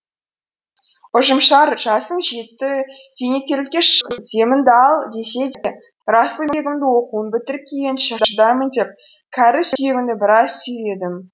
ұжымшар жасың жетті зейнеткерлікке шық деміңді ал десе де расылбегімді оқуын бітіріп келгенше шыдаймын деп кәрі сүйегімді біраз сүйредім